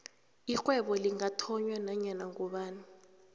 irhwebo lingathonywa nanyana ngubani